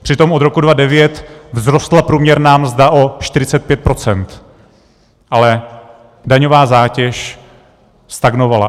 Přitom od roku 2009 vzrostla průměrná mzda o 45 %, ale daňová zátěž stagnovala.